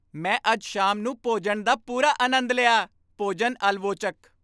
ਮੈਂ ਅੱਜ ਸ਼ਾਮ ਨੂੰ ਭੋਜਨ ਦਾ ਪੂਰਾ ਆਨੰਦ ਲਿਆ ਭੋਜਨ ਆਲਵੋਚਕ